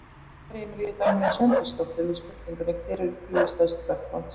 Í svari Emilíu Dagnýjar Sveinbjörnsdóttur við spurningunni Hver eru tíu stærstu vötn landsins?